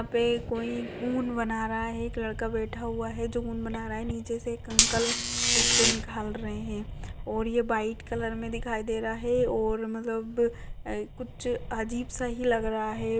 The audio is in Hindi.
यहा पे कोई उन बना रहा है एक लड़का बैठा हुआ है जो उन बना रहा है। नीचे से एक अंकल उसके निकाल रहे है और ये व्हाइट कलर मे दिखाई दे रहा है और मतलब अ कुछ अजीब सा ही लग रहा है।